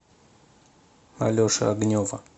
алеши огнева